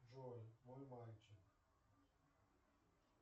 джой мой мальчик